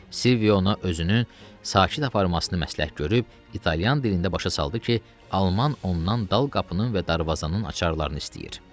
Silvio ona özünü sakit aparmasını məsləhət görüb, italyan dilində başa saldı ki, alman ondan dal qapının və darvazanın açarlarını istəyirdi.